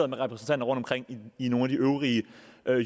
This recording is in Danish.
der repræsentanter rundtomkring i nogle af de øvrige